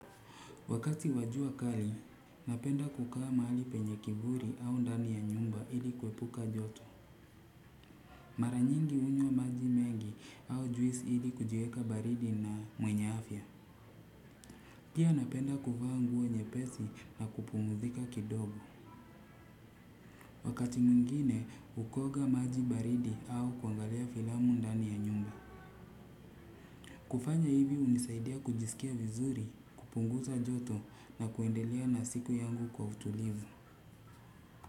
Wakati wa jua kali, napenda kukaa mahali penye kivuli au ndani ya nyumba hili kuepuka joto. Mara nyingi hunywa maji mengi au juisi hili kujiweka baridi na mwenye afya. Pia napenda kuvaa nguo nyepesi na kupumzika kidogo. Wakati mwingine, ukaoga maji baridi au kuangalia filamu ndani ya nyumba. Kufanya hivi hunisaidia kujisikia vizuri, kupunguza joto na kuendelea na siku yangu kwa utulivu.